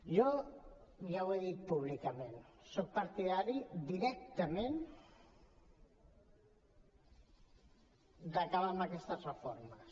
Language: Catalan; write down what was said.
jo ja ho he dit públicament soc partidari directament d’acabar amb aquestes reformes